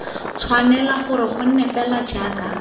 tshwanela gore gonne fela jaaka